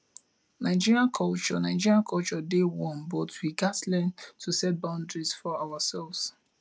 nigerian culture nigerian culture dey warm but we gats learn to set boundaries for ourselves